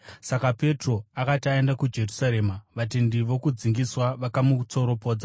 Saka Petro akati aenda kuJerusarema, vatendi vokudzingiswa vakamutsoropodza